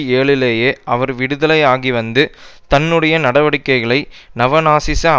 ஏழுலேயே அவர் விடுதலையாகிவந்து தன்னுடைய நடவடிக்கைகளை நவநாசிச